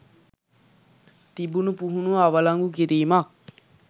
තිබුණු පුහුණුව අවලංගු කිරීමක්